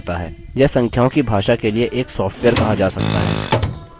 यह संख्याओं की भाषा के लिए एक सॉफ्टवेयर कहा जा सकता है